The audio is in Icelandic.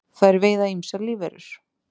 þær veiða ýmsar lífverur